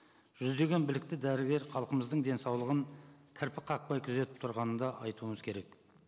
жүздеген білікті дәрігер халқымыздың денсаулығын кірпік қақпай күзетіп тұрғанын да айтуымыз керек